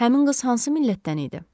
Həmin qız hansı millətdən idi?